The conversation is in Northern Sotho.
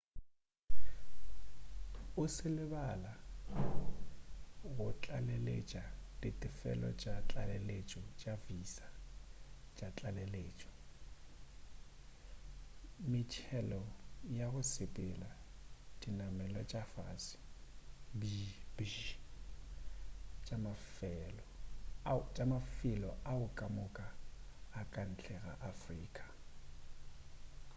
o se lebala go tlaleletša ditefelo tša tlaleletšo tša di-visa tša tlaleletšo metšhelo ya go sepela dinamelwa tša fase bjbj tša mafelo ao kamoka a ka ntle ga afrika